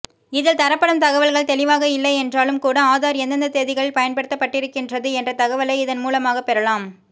இதில் தரப்படும் தகவல்கள் தெளிவாக இல்லையென்றாலும் கூட ஆதார் எந்தெந்த தேதிகளில் பயன்படுத்தப்பட்டிருக்கின்றது என்ற தகவலை இதன் மூலமாகப் பெறலாம்